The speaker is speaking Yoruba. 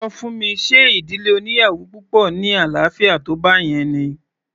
Ṣọ fún mi ṣe ìdílé oníyàwò púpọ̀ ní àlàáfíà tó báyẹn ni?